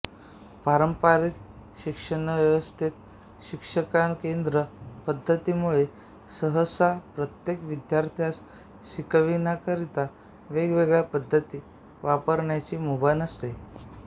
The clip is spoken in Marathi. पारंपारिक शिक्षणव्यवस्थेत शिक्षककेंद्री पद्धती मुळे सहसा प्रत्येक विद्यार्थ्यास शिकण्याकरीता वेगवेगळ्या पद्धती वापरण्याची मुभा नसते